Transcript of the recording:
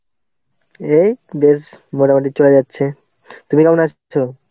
এই বেশ মোটামুটি চলে যাচ্ছে. তুমি কেমন আছো?